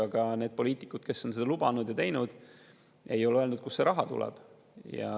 Aga need poliitikud, kes on seda lubanud ja, ei ole öelnud, kust see raha tuleb.